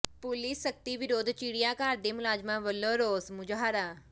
police ਸਖ਼ਤੀ ਵਿਰੁੱਧ ਚਿੜੀਆਘਰ ਦੇ ਮੁਲਾਜ਼ਮਾਂ ਵੱਲੋਂ ਰੋਸ ਮੁਜ਼ਾਹਰਾ